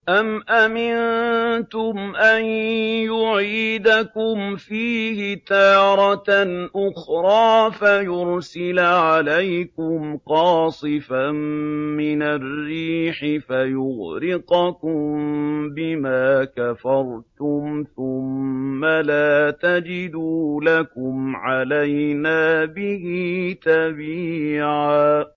أَمْ أَمِنتُمْ أَن يُعِيدَكُمْ فِيهِ تَارَةً أُخْرَىٰ فَيُرْسِلَ عَلَيْكُمْ قَاصِفًا مِّنَ الرِّيحِ فَيُغْرِقَكُم بِمَا كَفَرْتُمْ ۙ ثُمَّ لَا تَجِدُوا لَكُمْ عَلَيْنَا بِهِ تَبِيعًا